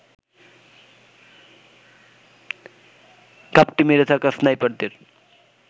ঘাপটি মেরে থাকা স্নাইপারদের